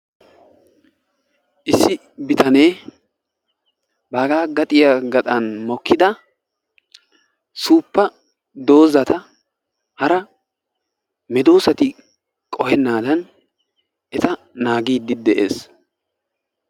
Issi bitane baaga gadiya gaxan mokkida suuppa doozata hara medoosati qohenaadan eta naagiidi de'ees.